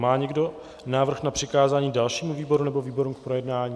Má někdo návrh na přikázání dalšímu výboru nebo výborům k projednání?